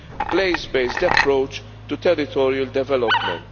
place based approach to territorial development.